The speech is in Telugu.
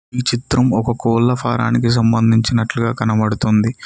ఈ చిత్రం ఒక కోళ్ల ఫారానికి సంబంధించినట్లుగా కనబడుతుంది.